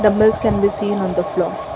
dumbbells can be seen on the floor.